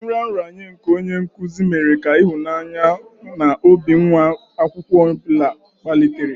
Nraranye nke onye nkuzi mere ka ịhụnanya maka mmụta n'obi nwa akwụkwọ ọ bụla kpalitere.